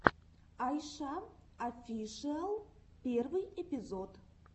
айша офишиал первый эпизод